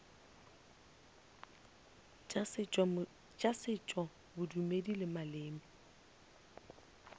tša setšo bodumedi le maleme